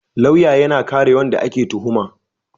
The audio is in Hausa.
lauya yAna kare wanda ake tuhuma